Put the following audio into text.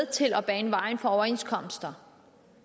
til at bane vejen for overenskomster